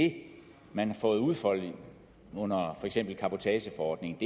det man har fået udfoldet under for eksempel cabotageforordningen